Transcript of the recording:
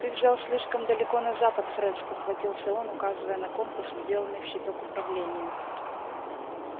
ты взял слишком далеко на запад фред спохватился он указывая на компас вделанный в щиток управления